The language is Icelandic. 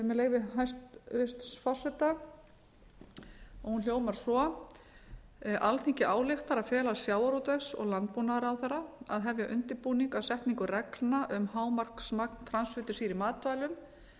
með leyfi hæstvirts forseta hún hljóðar svo alþingi ályktar að fela sjávarútvegs og landbúnaðarráðherra að hefja undirbúning að setningu reglna um að hámarksmagn transfitusýra